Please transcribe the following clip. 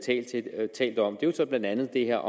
talt om er så blandt andet det her